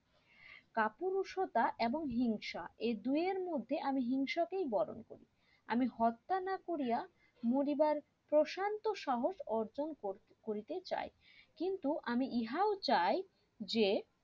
কাপুরুষতা এবং হিংসা এই দুয়ের মধ্যে আমি হিংসা কেই বরন করি আমি হত্যা না করিয়া মরিবার প্রশান্ত সাহস অর্জন করতে করিতে চাই কিন্তু আমি ইহাও চাই যে